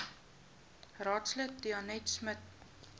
raadslid danetta smit